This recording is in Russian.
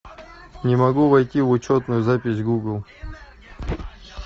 не могу войти в учетную запись гугл